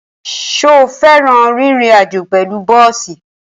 Ṣo fẹ́ràn rírin àjó pẹ̀lú bọ́ọ̀sì?